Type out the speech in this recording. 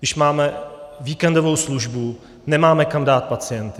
Když máme víkendovou službu, nemáme kam dát pacienty.